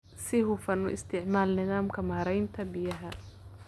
Si hufan u isticmaal nidaamka maaraynta biyaha.